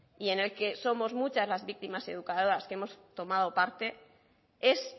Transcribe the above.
y en el que somos muchas las víctimas educadoras que hemos tomado parte es